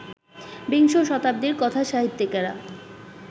বিংশ শতাব্দীর কথাসাহিত্যিকেরা